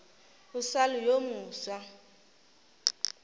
o sa le yo mofsa